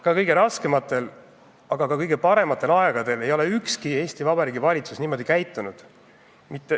Ka kõige raskematel, aga ka kõige parematel aegadel ei ole ükski Eesti Vabariigi valitsus niimoodi käitunud.